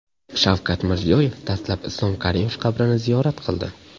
Shavkat Mirziyoyev dastlab Islom Karimov qabrini ziyorat qildi.